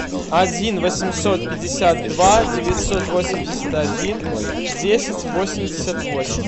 один восемьсот пятьдесят два девятьсот восемьдесят один десять восемьдесят восемь